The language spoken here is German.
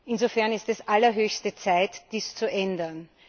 Insofern ist es allerhöchste Zeit, dies zu ändern!